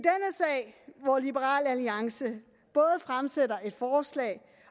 i hvor liberal alliance både fremsætter et forslag